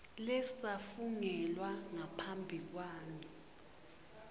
lesafungelwa ngaphambi kwami